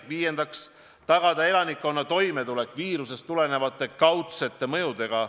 Viiendaks, tagada elanikkonna toimetulek viirusest tulenevate kaudsete mõjudega.